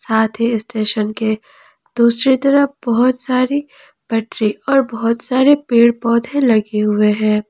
साथ ही स्टेशन के दूसरी तरफ बहुत सारी पटरी और बहुत सारे पेड़ पौधे लगे हुए हैं।